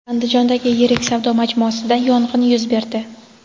Andijondagi yirik savdo majmuasida yong‘in yuz berdi.